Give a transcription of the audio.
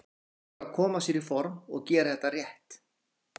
Nú er bara að koma sér í form og gera þetta rétt.